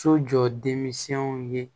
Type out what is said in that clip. So jɔ denminsɛnw ye